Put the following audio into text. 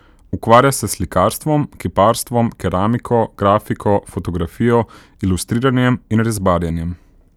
Ukvarja se s slikarstvom, kiparstvom, keramiko, grafiko, fotografijo, ilustriranjem in rezbarjenjem.